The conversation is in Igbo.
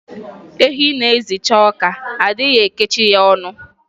Ehi na-ezicha ọka, a dịghị ekechi ya ọnụ